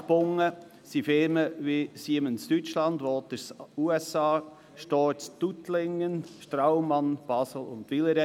Vertraglich gebunden sind Firmen wie Siemens Deutschland, Waters USA, die Storz AG aus Tuttlingen, die Straumann AG Basel und Villeret.